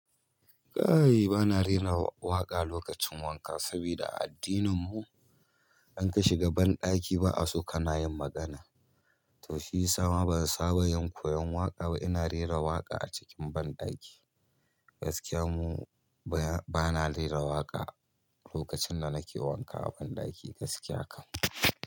Kai bana rera waƙa lokacin wanka saboda a addininmu in ka shiga banɗaki ba'a so kana yin magana. To shiyasa ma ban saba yin koyon waƙa ba. Ina rera waƙa a cikin banɗaki. Gaskiya mu bana rera waƙa lokacin da nake wanka a banɗaki gaskiya kam.